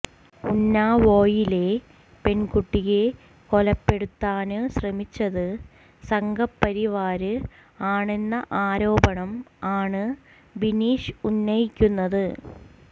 ഉന്നാവോയിലെ പെണ്കുട്ടിയെ കൊലപ്പെടുത്താന് ശ്രമിച്ചത് സംഘപരിവാര് ആണെന്ന ആരോപണം ആണ് ബിനീഷ് ഉന്നയിക്കുന്നത്